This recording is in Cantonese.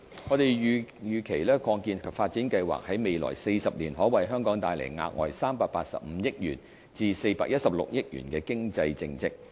我們預期擴建及發展計劃在未來40年可為香港帶來額外385億元至416億元的經濟淨值。